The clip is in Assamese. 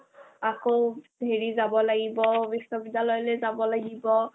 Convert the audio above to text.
আকৌ হেৰি যাব লাগিব বিশ্ববিদ্যালয়লৈ যাব লাগিব